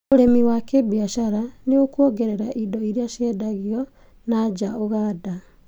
ũrĩmi wa gĩbiacara nĩũkuongera indo iria ciendagio nanja Uganda